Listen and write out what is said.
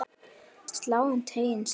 Sláninn teiginn slær á degi.